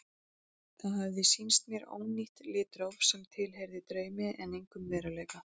Það hafði sýnt mér ónýtt litróf sem tilheyrði draumi en engum veruleika.